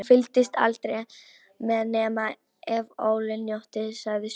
Hún fylgdist aldrei með nema ef Óli njóli sagði sögur.